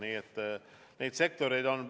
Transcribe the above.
Nii et neid sektoreid on.